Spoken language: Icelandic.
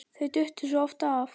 Þau duttu svo oft af.